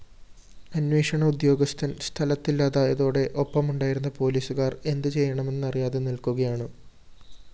അന്വേഷണ ഉദ്യോഗസ്ഥന്‍ സ്ഥലത്തില്ലാതായതോടെ ഒപ്പമുണ്ടായിരുന്ന പോലീസുകാര്‍ എന്ത് ചെയ്യണമെന്നറിയാതെ നില്‍ക്കുകയാണ്